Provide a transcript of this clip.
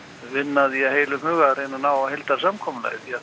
vinna að því að heilum hug að reyna að ná heildarsamkomulagi því